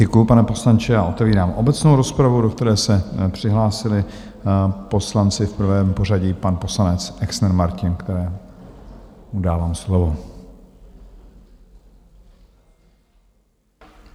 Děkuji, pane poslanče, a otevírám obecnou rozpravu, do které se přihlásili poslanci, v prvém pořadí pan poslanec Exner Martin, kterému dávám slovo.